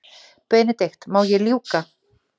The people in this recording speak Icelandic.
BENEDIKT: Má ég ljúka.